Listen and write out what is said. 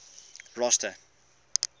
rosta